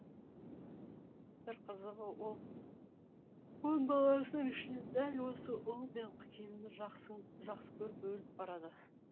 бір қызығы ол он баласының ішінен дәл осы ұлы мен келінін жақсы көріп өліп барады